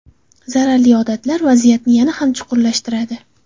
Zararli odatlar vaziyatni yana ham chuqurlashtiradi.